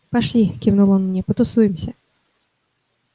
пошли кивнул он мне потусуемся